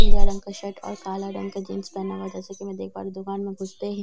पीला रंग का शर्ट और काला रंग का जींस पहना हुआ है जैसा कि मैं देख पा रही हूं दुकान में घुसते ही सीढ़ी बनी --